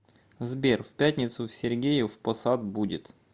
сбер в пятницу в сергеев по сад будет